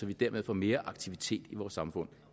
vi dermed får mere aktivitet i vores samfund